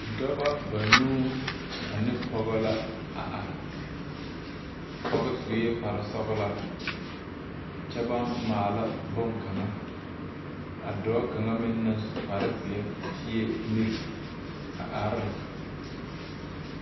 Noba banuu ane pɔge la are. A pɔge su la kparesɔglaa kyɛ ka ba maala boŋkan.A dɔɔ kaŋ naŋ su kparezeɛ ti la mire a are ne.